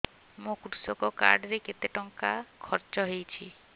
ମୋ କୃଷକ କାର୍ଡ ରେ କେତେ ଟଙ୍କା ଖର୍ଚ୍ଚ ହେଇଚି